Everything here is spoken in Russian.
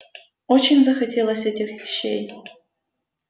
очень захотелось этих щей